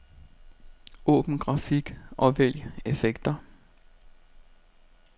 Åbn grafik og vælg effekter.